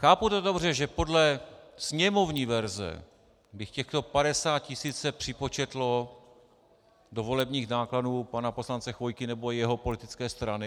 Chápu to dobře, že podle sněmovní verze by těchto 50 tisíc se připočetlo do volebních nákladů pana poslance Chvojky nebo jeho politické strany?